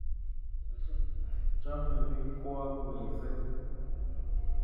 Chamei pik kwak missing'